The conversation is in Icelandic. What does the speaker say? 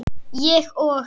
Ég og